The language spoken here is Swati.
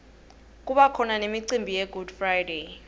kubakhona nemiunbi yegood friday